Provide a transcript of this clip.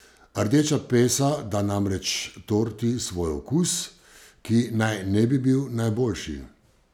Rdeča pesa da namreč torti svoj okus, ki naj ne bi bil najboljši.